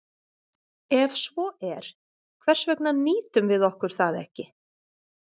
Ef svo er, hvers vegna nýtum við okkur það ekki?